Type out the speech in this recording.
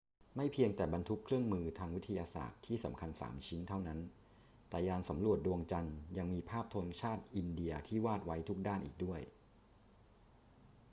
ไม่เพียงแต่บรรทุกเครื่องมือทางวิทยาศาสตร์ที่สำคัญสามชิ้นเท่านั้น แต่ยานสำรวจดวงจันทร์ยังมีภาพธงชาติอินเดียที่วาดไว้ทุกด้านอีกด้วย